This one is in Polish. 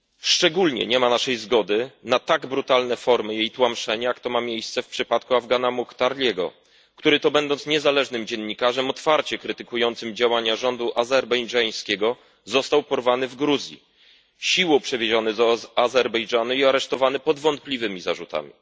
Szczególnie nie wyrażamy zgody na tak brutalne formy jej tłamszenia, jak ma to miejsce w przypadku Afgana Mukhtarliego, który, będąc niezależnym dziennikarzem otwarcie krytykującym działania rządu azerbejdżańskiego, został porwany w Gruzji, siłą przewieziony do Azerbejdżanu i aresztowany pod wątpliwymi zarzutami.